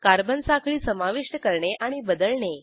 carbon साखळी समाविष्ट करणे आणि बदलणे